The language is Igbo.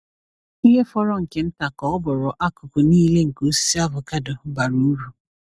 Ihe fọrọ nke nta ka ọ bụrụ akụkụ niile nke osisi avocado bara uru.